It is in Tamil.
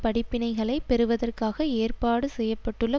படிப்பினைகளை பெறுவதற்காக ஏற்பாடு செய்ய பட்டுள்ள